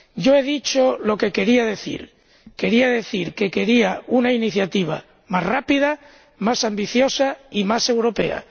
Yo he dicho lo que quería decir. Quería decir que deseaba una iniciativa más rápida, más ambiciosa, y más europea.